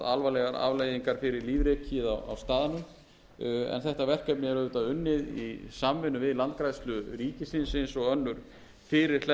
alvarlegar afleiðingar fyrir lífríkið á staðnum en þetta verkefni er auðvitað unnið í samvinnu við landgræðslu ríkisins eins og önnur fyrirhleðsluverkefni